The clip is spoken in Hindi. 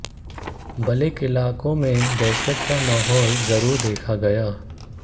बल्कि इलाके में दहशत का माहौल जरूर देखा गया